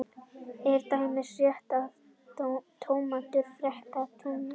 er til dæmis réttara að segja tómatur frekar en túmatur